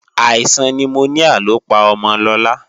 Àìsàn nimoníà ló pa ọmọ Lọlá